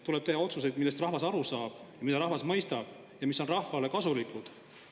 Tuleb teha otsuseid, millest rahvas aru saab, mida rahvas mõistab ja mis on rahvale kasulikud.